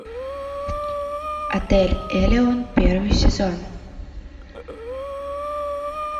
отель элеон первый сезон